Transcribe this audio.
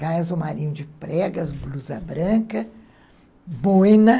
Saia azul marinho de pregas, blusa branca, boina.